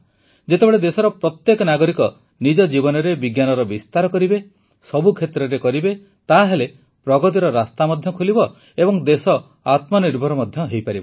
ଯେତେବେଳେ ଦେଶର ପ୍ରତ୍ୟେକ ନାଗରିକ ନିଜ ଜୀବନରେ ବିଜ୍ଞାନର ବିସ୍ତାର କରିବ ସବୁ କ୍ଷେତ୍ରରେ କରିବ ତାହେଲେ ପ୍ରଗତିର ରାସ୍ତା ମଧ୍ୟ ଖୋଲିବ ଏବଂ ଦେଶ ଆତ୍ମନିର୍ଭର ମଧ୍ୟ ହେବ